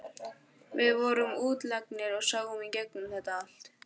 Við vorum útlagarnir og sáum í gegnum þetta allt.